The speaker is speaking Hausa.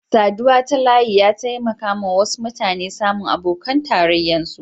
Saduwa ta layi ya taimaka wasu mutane samu abokan tarrayan su.